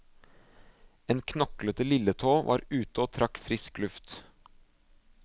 En knoklete lilletå var ute og trakk frisk luft.